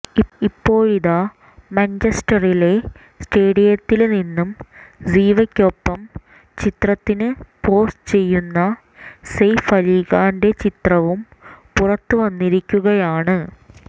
ഇപ്പോഴിതാ മാഞ്ചെസ്റ്ററിലെ സ്റ്റേഡിയത്തില് നിന്ന് സിവയ്ക്കൊപ്പം ചിത്രത്തിന് പോസ് ചെയ്യുന്ന സെയ്ഫ് അലി ഖാന്റെ ചിത്രവും പുറത്തുവന്നിരിക്കുകയാണ്